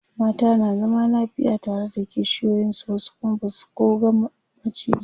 mata na zama lafiya tare da kishiyoyin su wasu Kuma Basu koh ga maciji